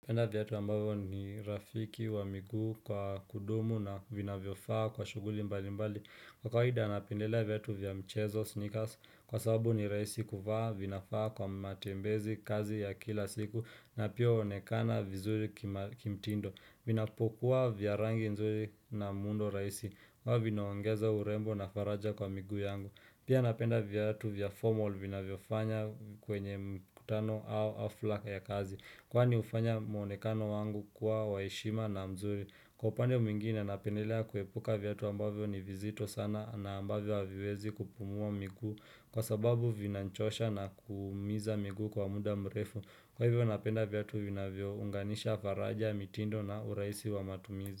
Penda vyatu ambavyo ni rafiki wa miguu kwa kudumu na vinavyofaa kwa shuguli mbali mbali. Kwa kawida napendelea vyatu vya mchezo sneakers kwa sababu ni rahisi kuvaa, vinafaa kwa matembezi kazi ya kila siku na pia huonekana vizuri kimtindo. Vinapokua vya rangi nzuri na muundo rahisi. Huwa vinaongeza urembo na faraja kwa miguu yangu. Pia napenda vyatu vya formal vina vyofanya kwenye mkutano au hafla ya kazi. Kwani hufanya mwonekano wangu kuwa wa heshima na mzuri. Kwa upande mwingine napendelea kuepuka vyatu ambavyo ni vizito sana na ambavyo haviwezi kupumuwa miguu kwa sababu vinanchosha na kuumiza miguu kwa muda mrefu. Kwa hivyo napenda vyatu vinavyo unganisha faraja, mitindo na urahisi wa matumizi.